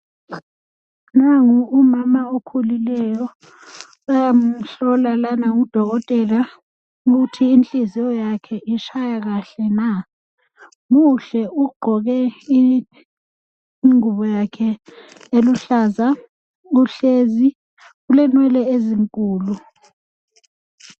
Nangu umama okhulileyo, bayamhlola lana ngudokotela ukuthi inhliziyo yakhe itshaya kahle na. Muhle ugqoke ingubo yakhe eluhlaza, uhlezi, ulenwele ezinkulu.